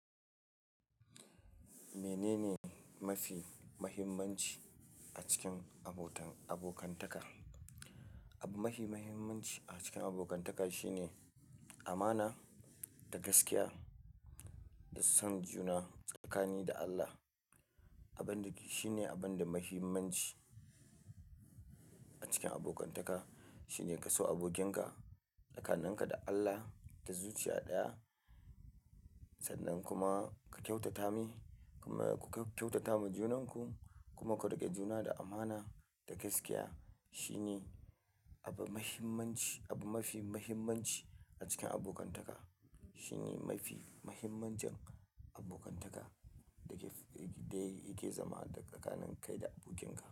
Menene mafi muhimmanci a cikin abotan, abokantaka? Abu mafi muhimmanci a cikin abokantaka shine amana da gaskiya da son juna tsakani da Allah. Abin da shine abin da yafi muhimmanci a cikin abokantaka shine ka so abokinka tsakanin ka da Allah da zuciya ɗaya, sannan kuma ka kyautata mai, kuma ku kyautata ma junanku, kuma ku riƙe juna da amana da gaskiya. Shine abu mahimmanci, abu mafi muhimmanci a cikin abokantaka. Shine mafi muhimmancin abokantaka da ke, da yake zama da tsakanin kai da abokin ka.